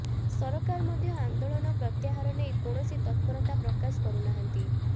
ସରକାର ମଧ୍ୟ ଆନ୍ଦୋଳନ ପ୍ରତ୍ୟାହାର ନେଇ କୌଣସି ତତ୍ପରତା ପ୍ରକାଶ କରୁନାହାନ୍ତି